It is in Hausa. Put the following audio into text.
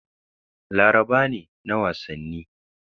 Laraba ne na wasanni.